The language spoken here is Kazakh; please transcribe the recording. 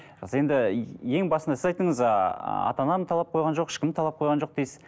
енді ең басында сіз айттыңыз ыыы ата анам талап қойған жоқ ешкім талап қойған жоқ дейсіз